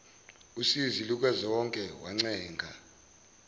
usizi lukazonke wancenga